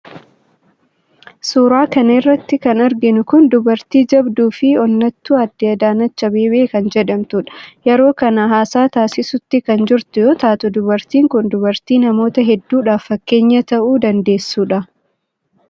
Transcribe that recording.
suuraa kana irratti kan arginu kun dubartii jabduufi onnattuu aadde adaanech abeebee kan jedhamtudha. yeroo kana haasaa taasisuutti kan jirtu yoo taatu dubartiin kun dubartii namoota hedduudhaaf fakkeenya ta'uu dandeessudha.